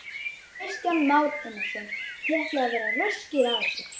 Kristján Már Unnarsson: Þið ætlið að vera röskir að þessu?